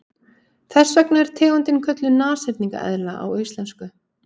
Þess vegna er tegundin kölluð nashyrningseðla á íslensku.